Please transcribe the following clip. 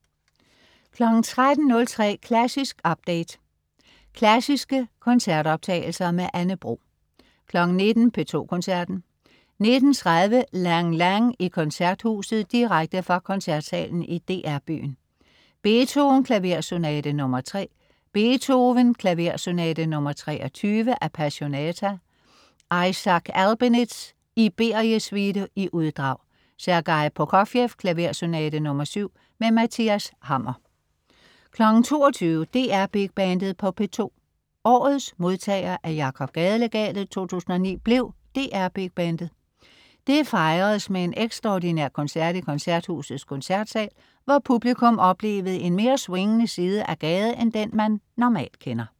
13.03 Klassisk update. Klassiske koncertoptagelser. Anne Bro 19.00 P2 Koncerten. 19.30 Lang Lang i Koncerthuset, direkte fra Koncertsalen i DR-byen. Beethoven: Klaversonate nr. 3. Beethoven: Klaversonate nr. 23. Appassionata. Isaac Albeniz: Iberie-suite (uddrag). Sergej Prokofjev: Klaversonate nr. 7. Mathias Hammer 22.00 DR Big Bandet på P2. Årets modtager af Jakob Gade-legatet 2009 blev DR Big Bandet. Det fejredes med en ekstraordinær koncert i Koncerthusets Koncertsal, hvor publikum oplevede en mere swingende side af Gade end den, man normalt kender